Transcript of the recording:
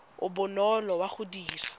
o bonolo wa go dira